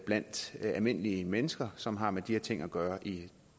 blandt almindelige mennesker som har med de her ting at gøre i